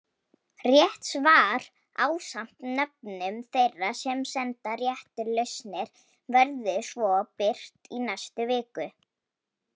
Rétt svar ásamt nöfnum þeirra sem sendu réttar lausnir verður svo birt í næstu viku.